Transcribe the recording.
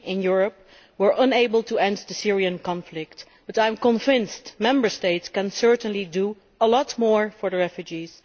We in Europe have been unable to end the Syrian conflict, but I am convinced the Member States can certainly do a lot more for the refugees.